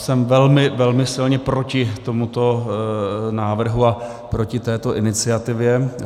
Jsem velmi, velmi silně proti tomuto návrhu a proti této iniciativě.